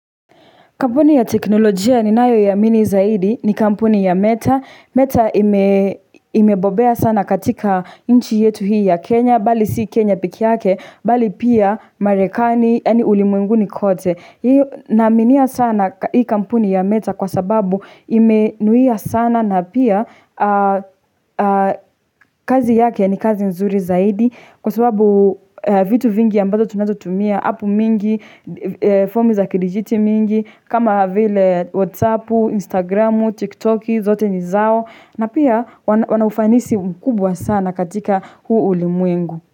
Kampuni ya teknolojia ninayoiamini zaidi ni kampuni ya meta. Meta ime imebobea sana katika inchi yetu hii ya Kenya, bali si Kenya pekeyake, bali pia marekani, yaani ulimwenguni kote. Naaminia sana hii kampuni ya meta kwa sababu imenuia sana na pia kazi yake ni kazi nzuri zaidi kwa sababu vitu vingi ambazo tunazotumia, appu mingi, fomu za kidijiti mingi, kama vile whatsappu, instagramu, tiktoki, zote ni zao na pia wanaufanisi mkubwa sana katika huu ulimwengu.